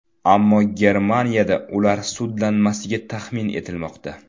Ammo Germaniyada ular sudlanmasligi taxmin etilmoqda.